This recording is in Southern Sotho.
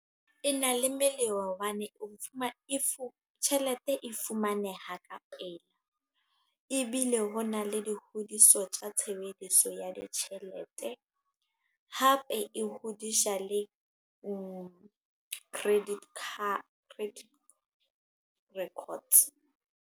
E na le melemo hobane, tjhelete e fumaneha ka pela. Ebile ho na le di hodise tsa tshebediso ya ditjhelete. Hape e hodisha le credit card. Credit records.